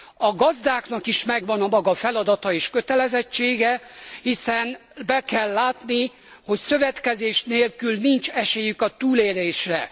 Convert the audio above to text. A gazdáknak is megvan a maga feladata és kötelezettsége, hiszen be kell látni, hogy szövetkezés nélkül nincs esélyük a túlélésre.